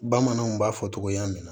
Bamananw b'a fɔ togoya min na